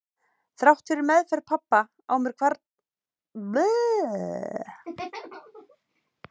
Þrátt fyrir meðferð pabba á mér hvarflaði aldrei að mér að hann væri vondur.